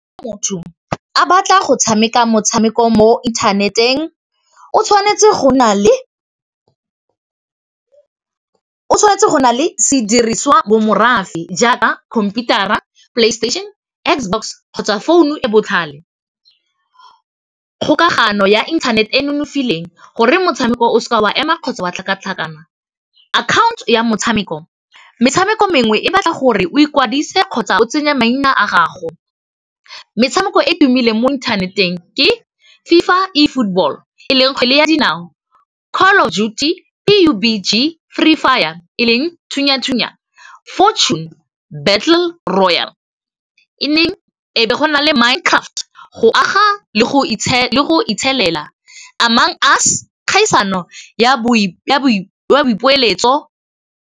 Motho a batla go tshameka motshameko mo interneteng o tshwanetse go na le sediriswa bo morafe jaaka computer-a, playstation, X-box kgotsa founu e botlhale, kgokagano ya internet-e nonofileng gore motshameko o seke wa ema kgotsa wa tlhakatlhakana, account ya motshameko metshameko mengwe e batla gore o ikwadise kgotsa o tsenya maina a gago metshameko e tumileng mo inthaneteng ke FIFA E Football e leng kgwele ya dinao Call of Duty, BUBG, Free Fire, e leng thunya-thunya Fortune Battle Royal, e neng e be go na le Mind Craft go aga le go itshelela amoung us kgaisano ya boipiletso